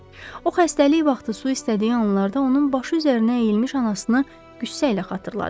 O xəstəlik vaxtı su istədiyi anlarda onun başı üzərinə əyilmiş anasını qüssə ilə xatırladı.